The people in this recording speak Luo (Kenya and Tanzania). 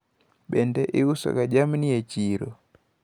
Bende iuso ga jamni e chiro?